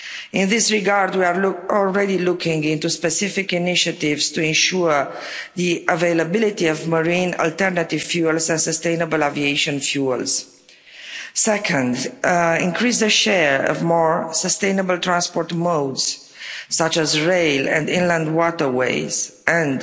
In this regard, we are already looking into specific initiatives to ensure the availability of marine alternative fuels and sustainable aviation fuels, Second, increase the share of more sustainable transport modes, such as rail and inland waterways, and